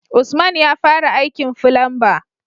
Usman yafara aikin fulamba